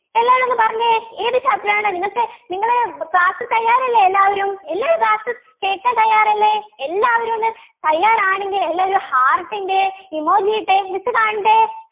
എല്ലാരും ഒന്ന് പറഞ്ഞെ ഏത് Chapter ആണ് നിങ്ങക്ക് നിങ്ങള് Class തയ്യാറല്ലേ എല്ലാവരും എല്ലാവരും Class കേക്കാൻ തയ്യാറല്ലേ എല്ലാവരും ഒന്ന് തയ്യാറാണെങ്കിൽ എല്ലാവരും heart ൻ്റെ emoji ഇട്ടേ miss കാണട്ടെ